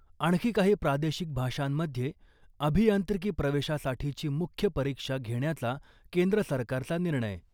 आणखी काही प्रादेशिक भाषांमध्ये अभियांत्रिकी प्रवेशासाठीची मुख्य परीक्षा घेण्याचा केंद्र सरकारचा निर्णय .